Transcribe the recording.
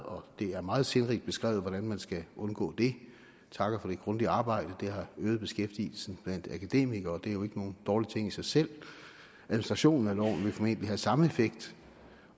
det er meget sindrigt beskrevet hvordan man skal undgå det vi takker for det grundige arbejde det har øget beskæftigelsen blandt akademikere og det er jo ikke nogen dårlig ting i sig selv administrationen af loven vil formentlig have samme effekt